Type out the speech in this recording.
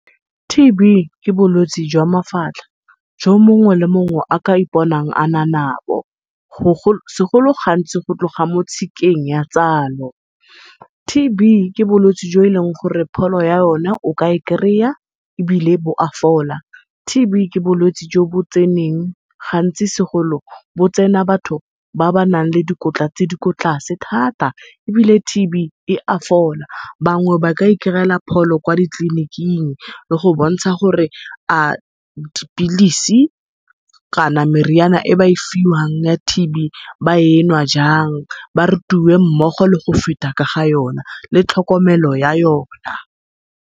T_B ke bolwetse jwa mafatlha jo mongwe le mongwe a ka iponang a na nabo, segolo gantsi go tloga mo tshikeng ya tsalo. T_B ke bolwetse jo e leng gore pholo ya yone o ka e kry-a ebile bo a fola. T_B ke bolwetse jo bo tseneng gantsi segolo bo tsena batho ba ba nang le dikotla tse di kwa tlase thata, ebile T_B e a fola. Bangwe ba ka i kry-ela pholo kwa ditleliniking, le go bontsha gore a dipilisi kana meriana e ba e fiwang ya T_B ba enwa jang, ba rutiwe mmogo le go feta ka ga yona le tlhokomelo ya yona.